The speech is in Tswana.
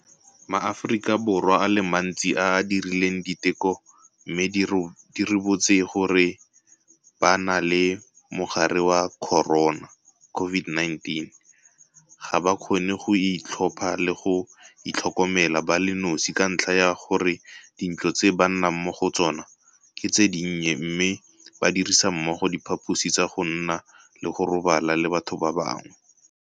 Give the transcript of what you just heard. MaAforika Borwa a le mantsi a a dirileng diteko mme di ribotse gore ba na le mogare wa corona COVID-19 ga ba kgone go ka itlhopha le go itlhokomela ba le nosi ka ntlha ya gore dintlo tse ba nnang mo go tsona ke tse dinnye mme ba dirisa mmogo diphaposi tsa go nna le go robala le batho ba bangwe.